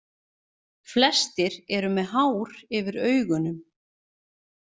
Flestir eru með hár yfir augunum.